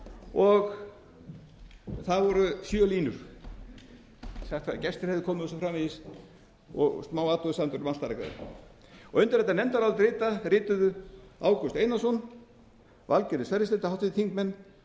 og það voru sjö línur sagt að gestir hefðu komið og svo framvegis og smáathugasemdir um undir þetta nefndarálit rituðu háttvirtir þingmenn ágúst einarsson valgerður sverrisdóttir